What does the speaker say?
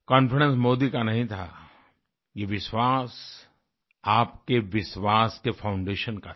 confidence Modi का नहीं था ये विश्वास आपके विश्वास के फाउंडेशन का था